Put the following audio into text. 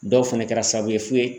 Dɔw fɛnɛ kɛra sababu ye f'u ye